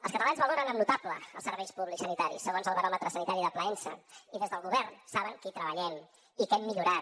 els catalans valoren amb notable els serveis públics sanitaris segons el baròmetre sanitari de plaensa i des del govern saben que hi treballem i que hem millorat